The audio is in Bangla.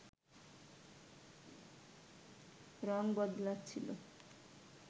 রং বদলাচ্ছিল